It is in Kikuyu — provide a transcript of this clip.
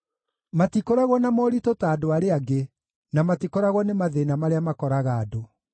Matikoragwo na moritũ ta andũ arĩa angĩ, na matikoragwo nĩ mathĩĩna marĩa makoraga andũ.